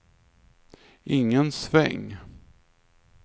ingen sväng